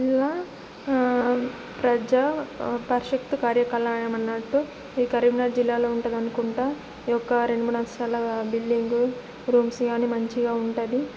జిల్లా ఆఁ ప్రజా పరిశత్ కార్య కలాయం అన్నటు ఇధి కరీంనగర్ జిల్లా లో ఉంటది అనుకుంటా ఒక రెండు మూడు అంతస్తుల బిల్డింగ్ రూంస్ అన్ని మంచి ఉంటది